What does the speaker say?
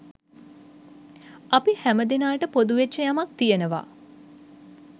අපි හැම දෙනාට පොදු වෙච්ච යමක් තියෙනවා